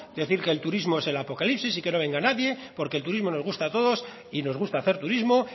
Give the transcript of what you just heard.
decir que el turismo es el apocalipsis y que no venga nadie porque el turismo nos gusta a todos y nos gusta hacer turismo